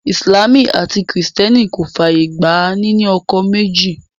Ìsìlámù àti kìrìtẹ́nì kò fàyè gba ní ní ọkọ méjì